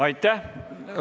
Aitäh!